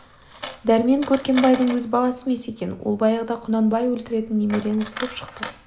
дәрмен көркембайдың өз баласы емес екен ол баяғыда құнанбай өлтіретін немере інісі боп шықты